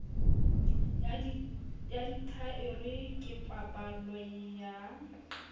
ya dithaere ke paballo ya